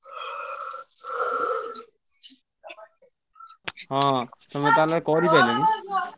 ହଁ ତମେ ତାହେଲେ କରିପାଇଲଣି?